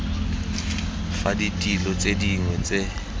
fa ditilo tse dingwe tse